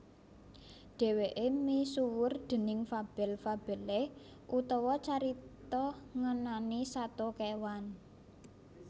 Dhèwèké misuwur déning fabel fabelé utawa carita ngenani sato kéwan